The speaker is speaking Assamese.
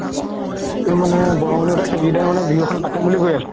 মানে বিহু এখন পাতিম বুলি কৈ আছে